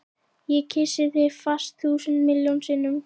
Ég kyssi þig fast, þúsund miljón sinnum.